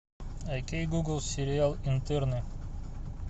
окей гугл сериал интерны